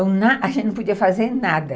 a gente não podia fazer nada.